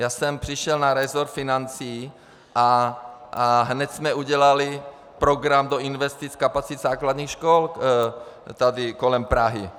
Já jsem přišel na resort financí a hned jsme udělali program do investic kapacit základních škol tady kolem Prahy.